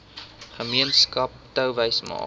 gemeenskap touwys maak